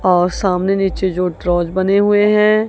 और सामने नीचे जो ट्रोज बने हुए हैं।